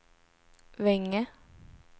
Vänge